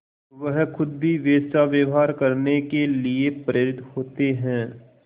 वह खुद भी वैसा व्यवहार करने के लिए प्रेरित होते हैं